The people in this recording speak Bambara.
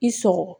I sɔgɔ